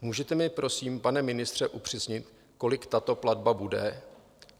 Můžete mi prosím, pane ministře, upřesnit, kolik tato platba bude?